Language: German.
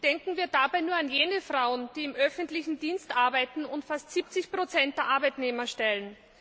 Denken wir dabei nur an jene Frauen, die im öffentlichen Dienst arbeiten und fast 70 der Arbeitnehmer stellen!